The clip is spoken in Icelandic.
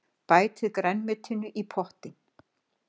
Bætið grænmetinu í pottinn.